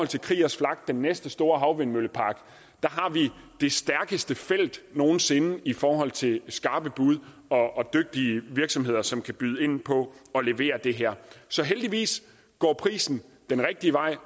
til kriegers flak den næste store havvindmøllepark har vi det stærkeste felt nogen sinde i forhold til skarpe bud og dygtige virksomheder som kan byde ind på at levere det her så heldigvis går prisen den rigtige vej